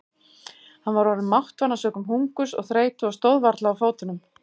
Hann var orðinn máttvana sökum hungurs og þreytu og stóð varla á fótunum.